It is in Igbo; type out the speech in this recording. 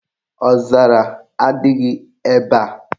Ọzara adịghị ebe a.